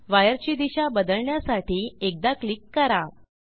वायरची दिशा बदलण्यासाठी एकदा क्लिक करा